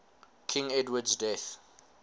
king edward's death